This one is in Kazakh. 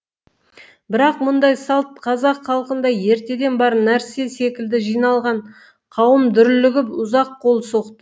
бірақ мұндай салт қазақ халқында ертеден бар нәрсе секілді жиналған қауым дүрлігіп ұзақ қол соқты